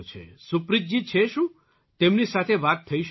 સુપ્રીતજી છે શું તેમની સાથે વાત થઈ શકશે